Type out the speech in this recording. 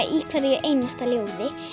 í hverju einasta ljóði